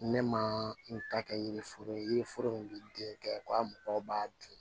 Ne ma n ta kɛ yiri foro ye yiriforo min bɛ den kɛ ko a mɔgɔw b'a dun